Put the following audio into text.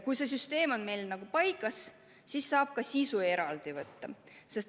Kui see süsteem on meil paigas, siis saame eraldi ka sisu vaadata.